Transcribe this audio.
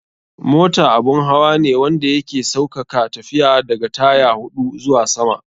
Mota abun hawa ne wanda ya ke saukaka tafiya, da ga tyre huɗu zuwa sama.